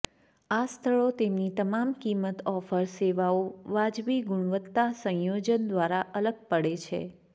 આ સ્થળો તેમની તમામ કિંમત ઓફર સેવાઓ વાજબી ગુણવત્તા સંયોજન દ્વારા અલગ પડે છે